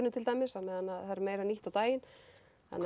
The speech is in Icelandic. til dæmis á meðan það er eina nýtt á daginn